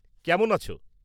কেমন আছ?